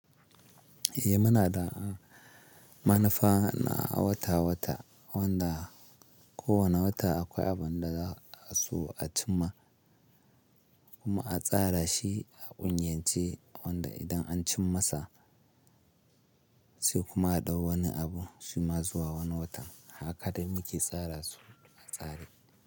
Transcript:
Eh muna da manufa na wata-wata wanda kowane wata akwai abun da za su a cim ma kuma a tsara shi a kungiyance wanda idan an cim masa sai kuma a ɗau wani abu shi ma zuwa wani watan haka da muke tsara su a tsare.